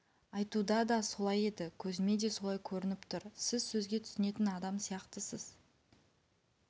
айтуда да солай еді көзіме де солай көрініп тұр сіз сөзге түсінетін адам сияқтысыз